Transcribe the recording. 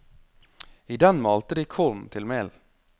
I den malte de korn til mel.